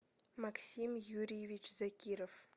максим юрьевич закиров